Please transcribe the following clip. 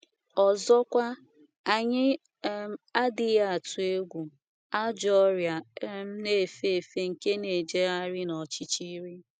Ọzọkwa, anyị um adịghị atụ egwu “ ajọ ọrịa um na - efe efe nke na - ejegharị n’ọchịchịrị. ”